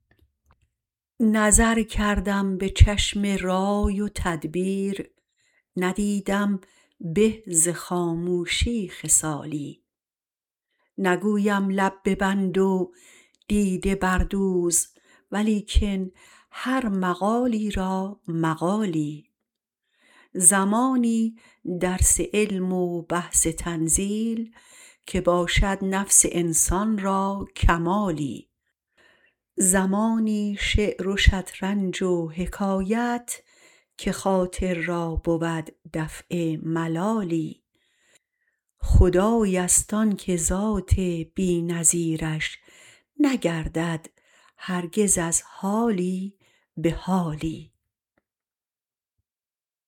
نظر کردم به چشم رای و تدبیر ندیدم به ز خاموشی خصالی نگویم لب ببند و دیده بردوز ولیکن هر مقامی را مقالی زمانی درس علم و بحث تنزیل که باشد نفس انسان را کمالی زمانی شعر و شطرنج و حکایت که خاطر را بود دفع ملالی خدای است آن که ذات بی نظیرش نگردد هرگز از حالی به حالی